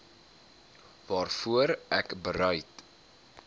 waarvoor ek bereid